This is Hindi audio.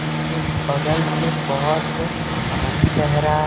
जिसके बगल से बहोत पानी बह रहा है।